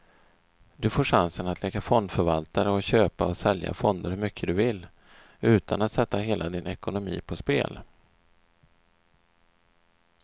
Du får chansen att leka fondförvaltare och köpa och sälja fonder hur mycket du vill, utan att sätta hela din ekonomi på spel.